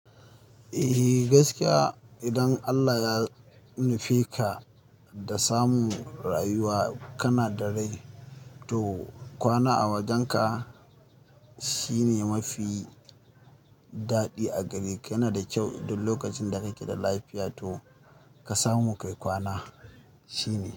Eh gaskiya idan Allah ya nufe ka da samun rayuwa, kana da rai to kwana a wajenka shine mafi daɗi a gareka Kana da kyau duk lokacin da kake da lafiya to ka samu kai kwana, shine.